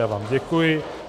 Já vám děkuji.